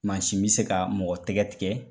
Mansin bɛ se ka mɔgɔ tɛgɛ tigɛ.